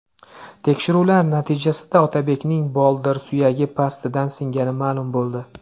Tekshiruvlar natijasida Otabekning boldir suyagi pastidan singani ma’lum bo‘ldi.